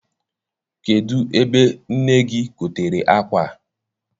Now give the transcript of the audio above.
Kedụ ebe nne gị gotere akwa a?